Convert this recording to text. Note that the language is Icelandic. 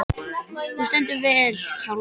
Þú stendur þig vel, Hjálmdís!